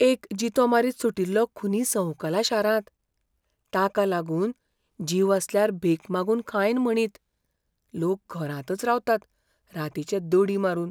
एक जितो मारीत सुटिल्लो खुनी संवकला शारांत. ताका लागून जीव आसल्यार भीक मागून खायन म्हणीत, लोक घरांतच रावतात रातिचे दडी मारून.